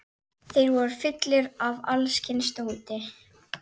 Þeir voru fullir af alls kyns dóti.